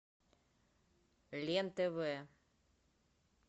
лен тв